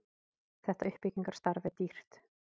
þetta uppbyggingarstarf er dýrt